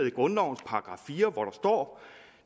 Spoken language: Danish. i grundlovens § fire hvor der står